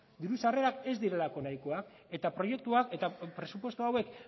diru sarrerak ez direlako nahikoak eta proiektuak eta presupuesto hauek